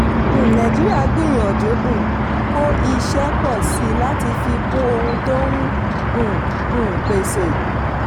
um nàìjíríà gbìyànjú um kó iṣẹ́ pọ̀ síi láti fi kún ohun tó n um um pèsè.